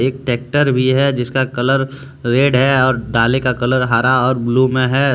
एक ट्रैक्टर भी है जिसका कलर रेड है और डाले का कलर हरा और ब्लू मे है।